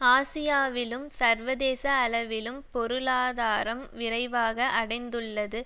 ஆசியாவிலும் சர்வதேச அளவிலும் பொருளாதாரம் விரைவாக அடைந்துள்ளது